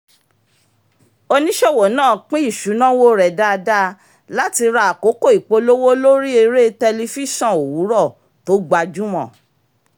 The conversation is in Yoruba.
oníṣòwò náà pín isunawo rẹ̀ dáadáa láti ra àkókò ìpolówó lórí eré tẹlifíṣọ́n owurọ tó gbajúmọ̀